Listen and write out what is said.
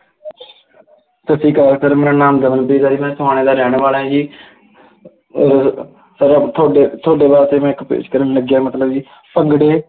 ਸਤਿ ਸ੍ਰੀ ਅਕਾਲ, sir ਮੇਰਾ ਨਾਮ ਦਮਨਪ੍ਰੀਤ ਹੈ ਜੀ, ਮੈਂ ਸਮਾਣੇ ਦਾ ਰਹਿਣ ਵਾਲਾ ਜੀ ਅਹ ਤੁਹਾਡੇ ਤੁਹਾਡੇ ਵਾਸਤੇ ਮੈਂ ਇੱਕ ਪੇਸ਼ ਕਰਨ ਲੱਗਿਆ, ਮਤਲਬ ਜੀ, ਭੰਗੜੇ